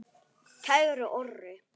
Kæri Orri.